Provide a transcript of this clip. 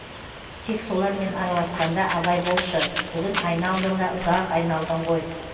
тек солармен араласқанда абай болшы бүгін айна алдында ұзақ айналдың ғой